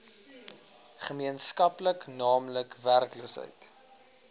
gemeenskaplik naamlik werkloosheid